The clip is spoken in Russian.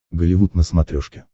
голливуд на смотрешке